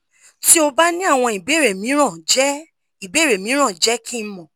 ti o ba ni awọn ibeere miiran jẹ ibeere miiran jẹ ki n mọ